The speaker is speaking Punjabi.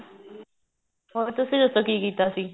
ਹੋਰ ਤੁਸੀਂ ਦੱਸੋ ਕੀ ਕੀਤਾ ਸੀ